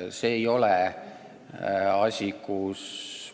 Ning see ei ole teema, mille puhul